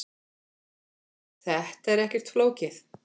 Þetta er ekkert flókið.